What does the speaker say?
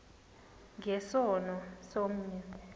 nge sono somnye